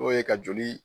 O ye ka joli